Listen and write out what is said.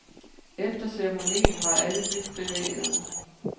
Efter ceremonien var alle dybt bevægede.